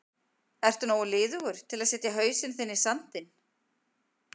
Ertu nógu liðugur til að setja hausinn þinn í sandinn?